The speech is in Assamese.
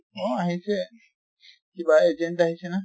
অ আহিছে, কিবা agent আহিছে না